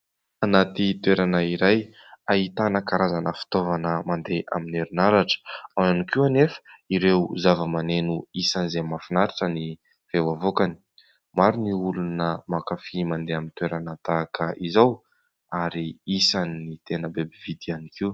Anaty toerana iray ahitana karazana fitaovana mandeha amin'ny herinaratra. Ao ihany koa anefa ireo zava-maneno isan'izay mahafinaritra ny feo avoakany. Maro ny olona mankafỳ mandeha amin'ny toerana tahaka izao ary isan'ny tena be mpividy ihany koa.